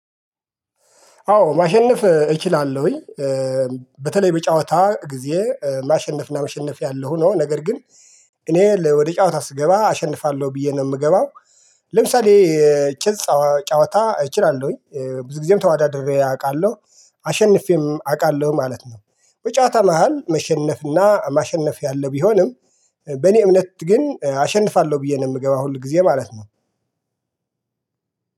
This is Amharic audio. አዎ ማሸነፍ እችላለሁኝ በተለይ በጨዋታ ጊዜ ማሸነፍና መሸነፍ ያለ ሆኖ ነገር ግን እኔ ወደ ጨዋታ ስገባ አሸንፋለሁ ብዬ ነው የምገባው። ለምሳሌ ጭልጽ ጨዋታ እችላለሁኝ ብዙ ጊዜም ተወዳድሬ አውቃለሁ አሸንፌም አውቃለሁ ማለት ነው። በጨዋታ መሃል መሸነፍና ማሸነፍ ያለ ቢሆንም። በእኔ እምነት ግን አሸንፋለሁ ብዬ ነው የምገባው ሁል ጊዜ ማለት ነው።